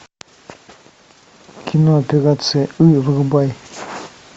кино операция ы врубай